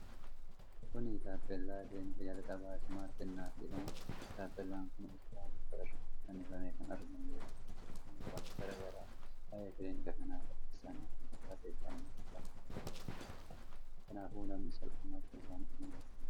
Kun taappellaa kilinika jalqabaa 'Smaart Innat' jedhamuuti. Taappellaan kun utubaa mukaa irratti fannifamee kan argamu yoo ta'u, odeeffannoowwan garaa garaa waa'ee kilinika kana oddeessan irratti barreffamanii argamu. Kanaafuu namni salphumatti isaan qunnamuu danda'a.